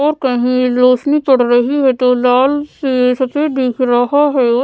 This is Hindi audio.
और कहीं रोशनी पड़ रही है तो लाल से सफेद दिख रहा है।